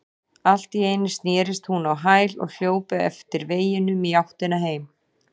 Allt í einu snerist hún á hæli og hljóp eftir veginum í áttina heim.